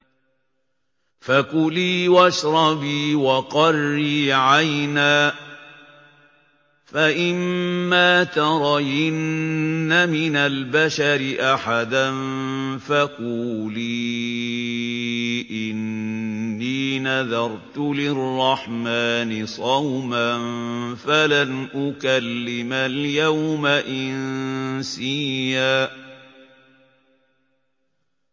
فَكُلِي وَاشْرَبِي وَقَرِّي عَيْنًا ۖ فَإِمَّا تَرَيِنَّ مِنَ الْبَشَرِ أَحَدًا فَقُولِي إِنِّي نَذَرْتُ لِلرَّحْمَٰنِ صَوْمًا فَلَنْ أُكَلِّمَ الْيَوْمَ إِنسِيًّا